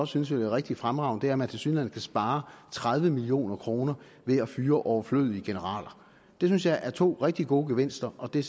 synes vil være rigtig fremragende er at man tilsyneladende kan spare tredive million kroner ved at fyre overflødige generaler det synes jeg er to rigtig gode gevinster og det